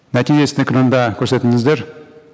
нәтижесін экранда көрсетіңіздер